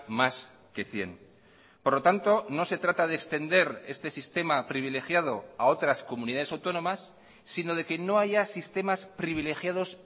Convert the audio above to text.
más que cien por lo tanto no se trata de extender este sistema privilegiado a otras comunidades autónomas sino de que no haya sistemas privilegiados